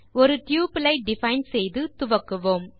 ஒரு டப்பிள் ஐ டிஃபைன் செய்து துவக்குவோம்